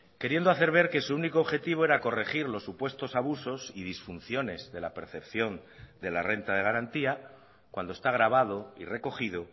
queriendo hacer ver que su único objetivo era corregir los supuestos abusos y disfunciones de la percepción de la renta de garantía cuando está grabado y recogido